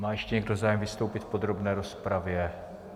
Má ještě někdo zájem vystoupit v podrobné rozpravě?